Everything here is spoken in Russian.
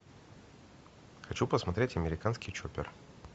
хочу посмотреть американский чоппер